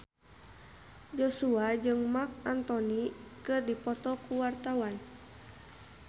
Joshua jeung Marc Anthony keur dipoto ku wartawan